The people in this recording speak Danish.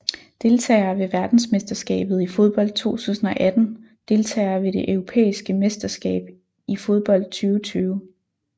Deltagere ved verdensmesterskabet i fodbold 2018 Deltagere ved det europæiske mesterskab i fodbold 2020